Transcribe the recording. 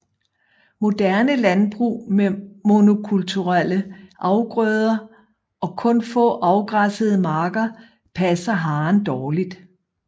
Moderne landbrug med monokulturelle afgrøder og kun få afgræssede marker passer haren dårligt